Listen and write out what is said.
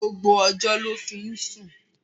Gbogbo ọjọ́ ló fi ń sùn.